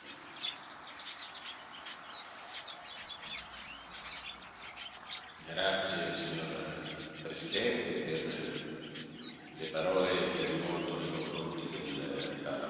Grazie signor Presidente per le parole che ha rivolto nei confronti del Parlamento europeo, fino alla conclusione del Suo mandato continuerà